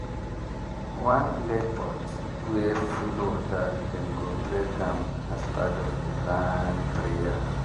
one clay pot wey full water dem go break am as part of the land prayer.